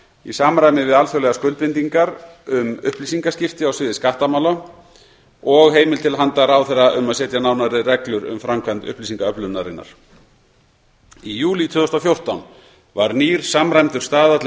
í samræmi við alþjóðlegar skuldbindingar um upplýsingaskipti á sviði skattamála og heimild til handa ráðherra um að setja nánari reglur um framkvæmd upplýsingaöflunarinnar í júlí tvö þúsund og fjórtán var nýr samræmdur staðall um